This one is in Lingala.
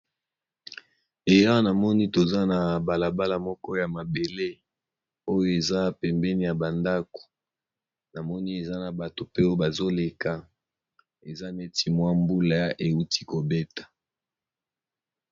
Ea na moni toza na balabala moko ya mabele oyo eza pembeni ya bandako na moni eza na bato pe oyo ba zoleka eza neti mwa mbula euti kobeta.